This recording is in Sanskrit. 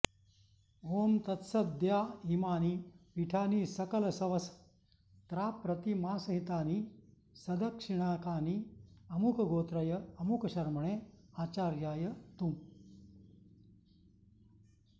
ॐ तत्सदद्यॉ इमानि पीठानि सकलसवस्त्राप्रतिमासहितानि सदक्षिणाकानि अमुकगोत्रय अमुकशर्मणे आचार्याय तुॉ